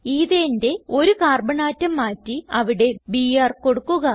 Ethaneന്റെ ഒരു carbon atom മാറ്റി അവിടെ ബിആർ കൊടുക്കുക